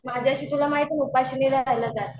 माझ्याशी तुला माहिती ये ना उपाशी नाही राहिलं जात.